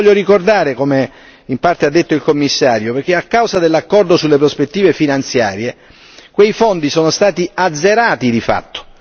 Lo voglio ricordare, come in parte ha detto il Commissario, perché a causa dell'accordo sulle prospettive finanziarie quei fondi sono stati azzerati di fatto.